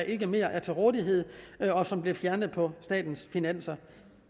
ikke mere er til rådighed og som blev fjernet på statens finanser